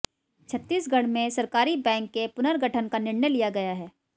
छत्तीसगढ़ में सरकारी बैंक के पुनर्गठन का निर्णय लिया गया है